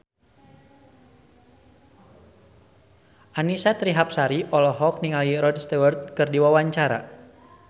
Annisa Trihapsari olohok ningali Rod Stewart keur diwawancara